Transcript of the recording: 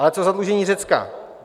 Ale co zadlužení Řecka?